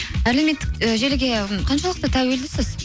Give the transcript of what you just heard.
әлеуметтік і желіге қаншалықты тәуелдісіз